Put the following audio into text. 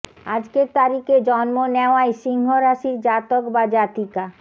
আজকের তারিখে জন্ম নেওয়ায় সিংহ রাশির জাতক বা জাতিকা